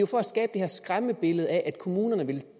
for at skabe det her skræmmebillede af at kommunerne vil